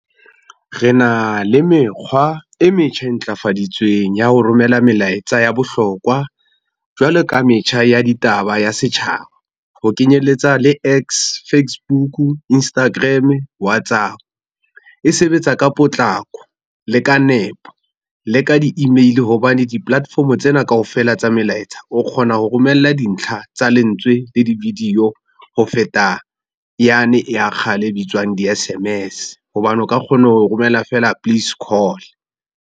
Re na le mekgwa e metjha e ntlafaditsweng ya ho romela melaetsa ya bohlokwa, jwale ka metjha ya ditaba ya setjhaba, ho kenyeletsa le X, Facebook, Instagram, Whatsapp. E sebetsa ka potlako le ka nepo, le ka di-email hobane di-platform tsena kaofela tsa melaetsa o kgona ho romella dintlha tsa lentswe le di-video ho feta, yane ya kgale e bitswang di-S_M_S hobane o ka kgona ho romela fela please call.